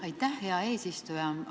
Aitäh, hea eesistuja!